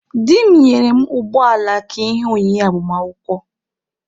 Di m nyere mụ ụgbọala ka ihe onyinye agbamakwụkwọ.